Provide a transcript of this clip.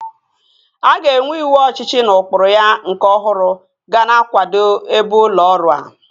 A ga-enwe ịwụ ọchịchị na ụkpụrụ ya nke ọhụrụ ga na-akwado ebe ụlọ ọrụ a